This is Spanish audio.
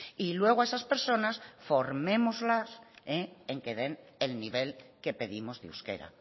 y luego a esas personas formémoslas en que den el nivel que pedimos de euskera